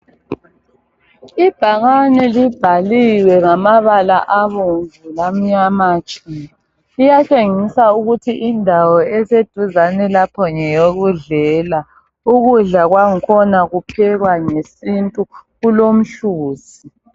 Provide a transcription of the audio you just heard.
Ibhakane libhaliwe ngamabala abomvu lamnyama tshu. Liyatshengisa ukuthi indawo eseduzane lapho ngeyokudlela. Ukudla kwangkhona kuphekwa ngesintu kulomhluzi.